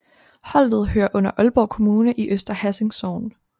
Holtet hører under Aalborg Kommune i Øster Hassing Sogn